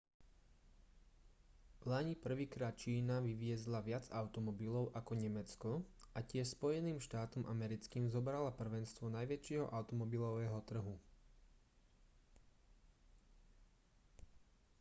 vlani prvýkrát čína vyviezla viac automobilov ako nemecko a tiež spojeným štátom americkým zobrala prvenstvo najväčšieho automobilového trhu